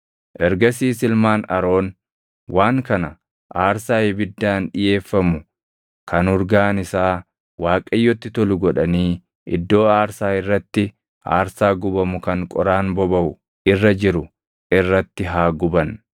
Ergasiis ilmaan Aroon waan kana aarsaa ibiddaan dhiʼeeffamu kan urgaan isaa Waaqayyotti tolu godhanii iddoo aarsaa irratti aarsaa gubamu kan qoraan bobaʼu irra jiru irratti haa guban.